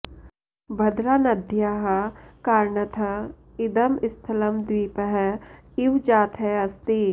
भद्रानद्याः कारणतः इदं स्थलं द्वीपः इव जातः अस्ति